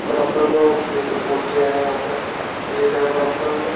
बरबर में और पेड़ पौधे हैं यहां पर पेड है बरबर में--